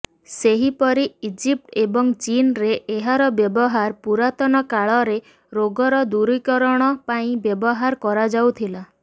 ସେହିପରି ଇଜିପ୍ଟ ଏବଂ ଚୀନରେ ଏହାର ବ୍ୟବହାର ପୁରାତନ କାଳରେ ରୋଗର ଦୂରୀକରଣ ପାଇଁ ବ୍ୟବହାର କରାଯାଉଥିଲା